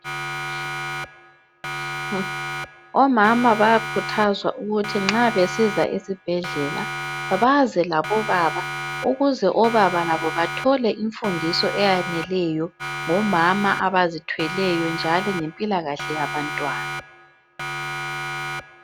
Omama bayakhuthazwa ukuthi nxa besiza esibhedlela baze labobaba ukuze obaba bethole bathole imfundiso eyaneleyo ngabo mama abazithweleyo njalo ngempilakahle yabantwana.